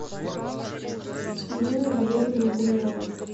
еленой валерьевной гумеровой